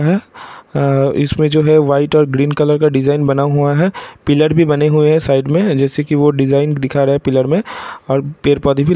इसमें जो है वाइट और ग्रीन कलर का डिज़ाइन बना हुआ है पिअर भी बने हुए हैं साइड में जैसा की वो डिज़ाइन दिखा रहा है पिलर और पेड़-पौधे भी लगे हुए हैं।